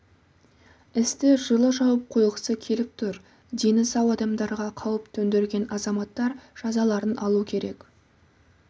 істі жылы жауып қойғысы келіп тұр дені сау адамдарға қауіп төндірген азаматтар жазаларын алу керек